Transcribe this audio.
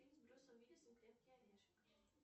фильм с брюсом уиллисом крепкий орешек